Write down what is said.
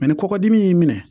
ni kɔkɔdimi y'i minɛ